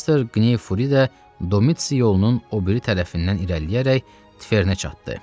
Kvester Qney Furi də Domits yolunun o biri tərəfindən irəliləyərək Tifernə çatdı.